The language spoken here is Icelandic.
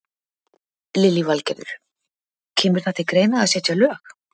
Lillý Valgerður: Kemur það til greina að setja lög?